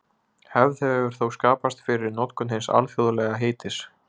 Hefð hefur þó skapast fyrir notkun hins alþjóðlega heitis.